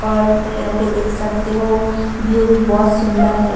और यहां पे देख सकते हो व्यू भी बहुत सुंदर है।